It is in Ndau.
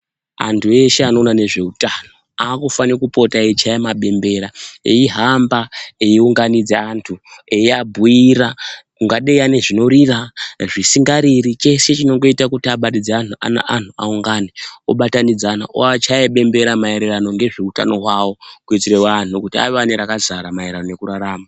Antu ese anoona nezveutano aakufane kupota eichaya mabembera eihamba eiunganidza antu eiabhuira ungadei ane zvinorira, zvisingariri cheshe chingoita kuti abatidze anhu aungane obatanidzana, oachaya bembera maererano ngeutano hwavo kuitire vanhu kuti ave ane rakazara maererano nekurarama.